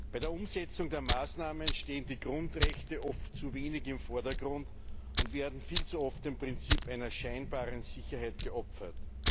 Bei der Umsetzung der Maßnahmen stehen die Grundrechte oft zu wenig im Vordergrund und werden viel zu oft dem Prinzip einer scheinbaren Sicherheit geopfert.